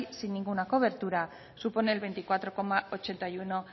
sin ninguna cobertura supone el veinticuatro coma ochenta y uno